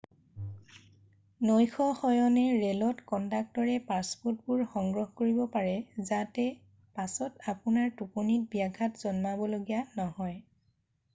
নৈশ শয়ন ৰে'লত কণ্ডাক্টৰে পাছপ'ৰ্টবোৰ সংগ্ৰহ কৰিব পাৰে যাতে পাছত আপোনাৰ টোপনিত ব্যাঘাত জন্মাবলগীয়া নহয়